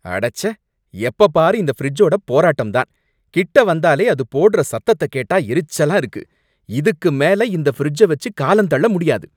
அடச்சே! எப்ப பாரு இந்த ஃபிரிட்ஜோட போராட்டம் தான், கிட்ட வந்தாலே அது போடுற சத்தத்த கேட்டா எரிச்சலா இருக்கு. இதுக்கு மேல இந்த ஃபிரிட்ஜ வச்சு காலம் தள்ள முடியாது.